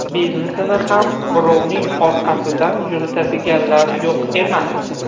Biznesini ham birovning orqasidan yuritadiganlar yo‘q emas.